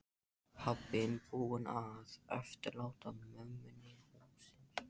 Pabbinn búinn að eftirláta mömmunni húsið.